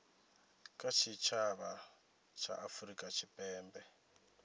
kha tshitshavha tsha afurika tshipembe